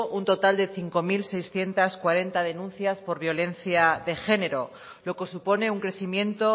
un total de cinco mil seiscientos cuarenta denuncias por violencia de género lo que supone un crecimiento